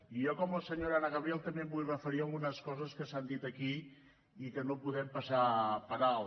i jo com la senyora anna gabriel també em vull referir a algunes coses que s’han dit aquí i que no podem passar per alt